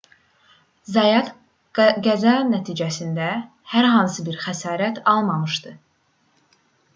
zayat qəza nəticəsində hər hansı bir xəsarət almamışdı